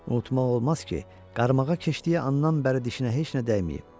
Unutmaq olmaz ki, qarmağa keçdiyi anndan bəri dişinə heç nə dəyməyib.